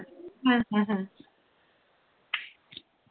হ্যাঁ হ্যাঁ।